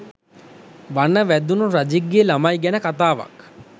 වන වැදුනු රජෙක්ගෙ ලමයි ගැන කතාවක්